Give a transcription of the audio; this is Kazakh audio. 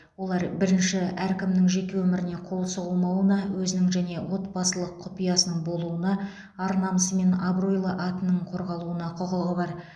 олар бірінші әркімнің жеке өміріне қол сұғылмауына өзінің және отбасының құпиясы болуына ар намысы мен абыройлы атының қорғалуына құқығы бар